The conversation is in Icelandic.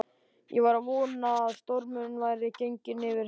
Ég var að vona að stormurinn væri genginn yfir heima.